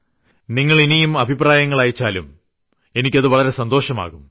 താങ്കൾ ഇനിയും അഭിപ്രായങ്ങൾ അയച്ചാലും എനിക്ക് വളരെ സന്തോഷമാകും